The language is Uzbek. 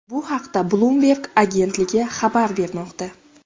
Bu haqda Bloomberg agentligi xabar bermoqda .